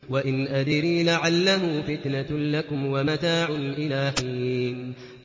وَإِنْ أَدْرِي لَعَلَّهُ فِتْنَةٌ لَّكُمْ وَمَتَاعٌ إِلَىٰ حِينٍ